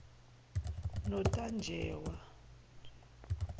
notajewa